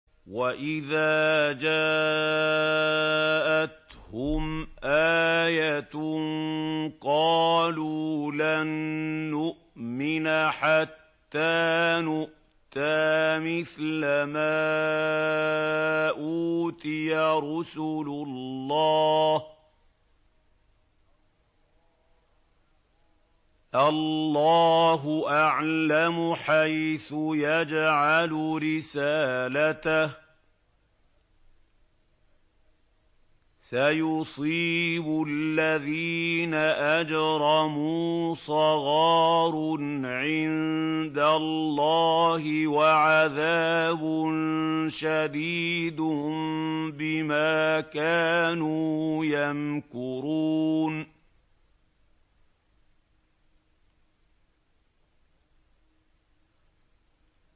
وَإِذَا جَاءَتْهُمْ آيَةٌ قَالُوا لَن نُّؤْمِنَ حَتَّىٰ نُؤْتَىٰ مِثْلَ مَا أُوتِيَ رُسُلُ اللَّهِ ۘ اللَّهُ أَعْلَمُ حَيْثُ يَجْعَلُ رِسَالَتَهُ ۗ سَيُصِيبُ الَّذِينَ أَجْرَمُوا صَغَارٌ عِندَ اللَّهِ وَعَذَابٌ شَدِيدٌ بِمَا كَانُوا يَمْكُرُونَ